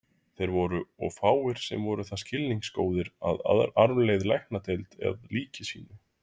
Þeir voru og fáir, sem voru það skilningsgóðir að arfleiða Læknadeild að líki sínu.